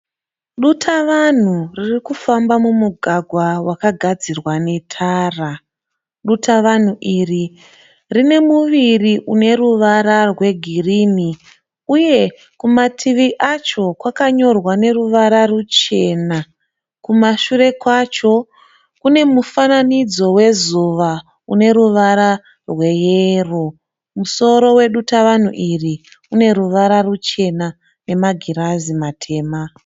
Dutavanhu riri kufamba mumugagwa wakagadzirwa netara. Dutavanhu iri rine muviri une ruvara rwegirini uye kumativi acho kwakanyorwa neruvara ruchena. Kumashure kwacho kune mufananidzo wezuva une ruvara rweyero. Musoro wedutavanhu iri une ruvara ruchena nemagirazi matema.